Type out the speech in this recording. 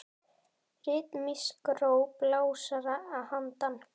Ritmísk ró blásara að handan.